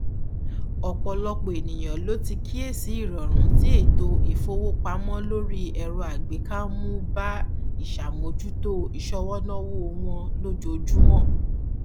ọpọlọpọ ènìyàn ló ti kíyèsí ìrọrùn tí ètò ìfowópamọ lórí ẹrọàgbéká ń mú bá ìṣàmójútó ìṣọwọnáwó wọn lójoojúmó